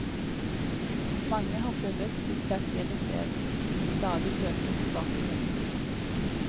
Mange har funnet sitt spesielle sted, som de stadig søker tilbake til.